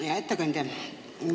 Hea ettekandja!